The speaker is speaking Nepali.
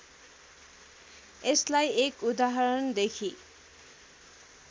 यसलाई एक उदाहरणदेखि